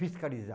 Fiscalizar.